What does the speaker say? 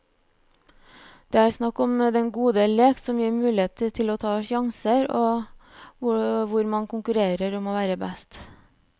Det er snakk om den gode lek, som gir mulighet til å ta sjanser, og hvor man konkurrerer om å være best.